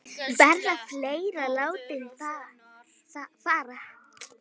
Verða fleiri látnir fara?